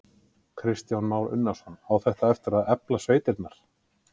Kristján Már Unnarsson: Á þetta eftir að efla sveitirnar?